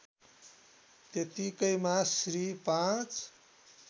त्यत्तिकैमा Shri ५